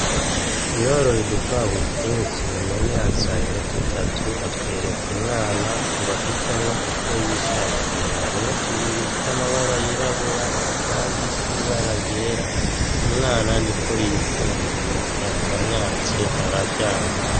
Yoroye udukwavu twinshi none azanye dutatu atwereka umwana ngo ahitemwo utwo yishakiye, harimwo tubiri tw'amabara y'irabura, akandi k'ibara ryera umwana niko yikundikiye yakamwatse aravyanka.